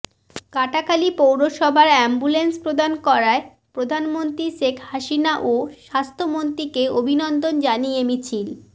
কাটাখালী পৌরসভায় এ্যাম্বুলেন্স প্রদান করায় প্রধানমন্ত্রী শেখ হাসিনা ও স্বাস্থ্যমন্ত্রীকে অভিনন্দন জানিয়ে মিছিল